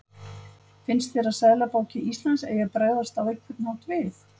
Finnst þér að Seðlabanki Íslands eigi að bregðast á einhvern hátt við?